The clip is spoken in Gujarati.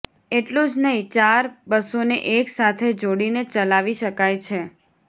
એટલું જ નહિ ચાર બસોને એક સાથે જોડીને ચલાવી શકાય છે